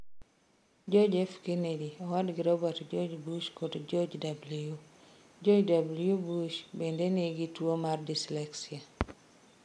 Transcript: John F. Kennedy, owadgi Robert George Bush kod George W. George W. Bush bende ne nigi tuwo mar dyslexia.